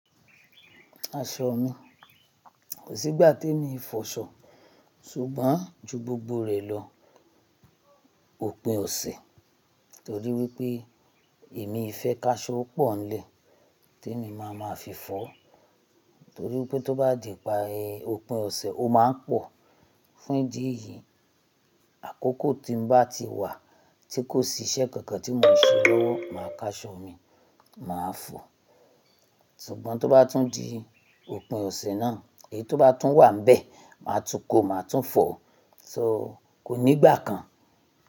Aṣọ mi, kò sí ìgbà tí èmi fọ aṣọ, ṣùgbọ́n ju gbogbo rẹ̀ lọ òpin ọ̀sẹ̀ torí wípé èmi fẹ́ ká aṣọ pọ̀ nlẹ̀ tí èmi máa ma fi fọ́ torí wípé tó bá di ìparí òpin ọ̀sẹ̀ ó máa ń pọ̀. Fún ìdí èyí, àkókò tí ń bá ti wà tí kò sí iṣẹ́ kankan tí mò ń ṣe lọ́wọ́ máa ká aṣọ mi, màá fọ̀. Ṣùgbọ́n tó bá tún di òpin ọ̀sẹ̀ náà, èyí tó bá tún wà níbẹ̀, màá tún kọ̀, màá tún fọ̀. So kò ní ìgbà kan.